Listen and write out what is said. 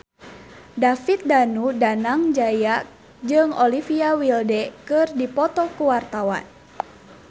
David Danu Danangjaya jeung Olivia Wilde keur dipoto ku wartawan